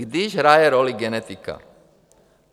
Když hraje roli genetika.